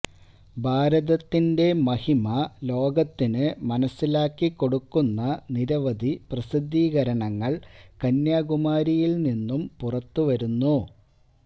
ഭാരതത്തിന്റെ മഹിമ ലോകത്തിനു മനസ്സിലാക്കിക്കൊടുക്കുന്ന നിരവധി പ്രസിദ്ധീകരണങ്ങള് കന്യാകുമാരിയില് നിന്നും പുറത്തുവരുന്നു